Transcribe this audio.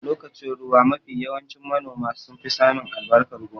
A lokacin ruwa mafi yawanci manoma sun fi samin albarkan gona